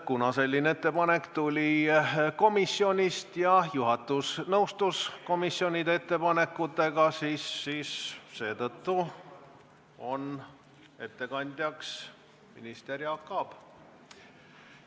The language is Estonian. Kuna selline ettepanek tuli komisjonist ja juhatus nõustus komisjonide ettepanekutega, siis seetõttu on ettekandjaks minister Jaak Aab.